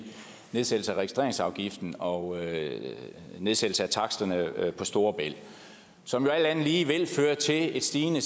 nedsættelse af registreringsafgiften og nedsættelse af taksterne på storebælt som jo alt andet lige vil føre til en stigende